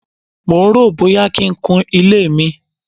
mò ń ròó bóyá kí n kun ilé mi.